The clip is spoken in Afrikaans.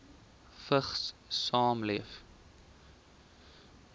vigs saamleef